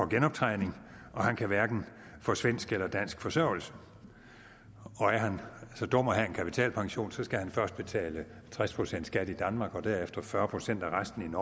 genoptrænet og han kan hverken få svensk eller dansk forsørgelse og er han så dum at have en kapitalpension skal han først betale tres procent skat i danmark og derefter fyrre procent af resten